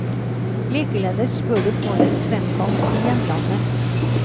Likeledes bør du få den fremkalt i hjemlandet.